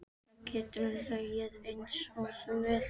Þá geturðu hlegið einsog þú vilt.